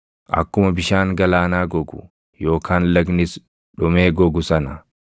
Akkuma bishaan galaanaa gogu yookaan lagnis dhumee gogu sana,